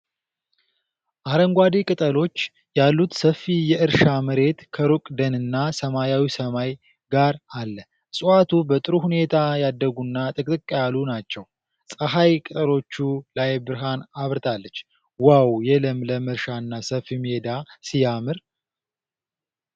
አረንጓዴ ቅጠሎች ያሉት ሰፊ የእርሻ መሬት ከሩቅ ደንና ሰማያዊ ሰማይ ጋር አለ። እፅዋቱ በጥሩ ሁኔታ ያደጉና ጥቅጥቅ ያሉ ናቸው። ፀሐይ ቅጠሎቹ ላይ ብርሃን አብርታለች። "ዋው! የለምልም እርሻና ሰፊ ሜዳ ሲያምር!"